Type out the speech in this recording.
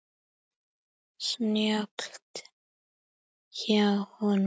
Snjallt hjá honum.